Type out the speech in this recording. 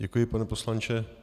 Děkuji, pane poslanče.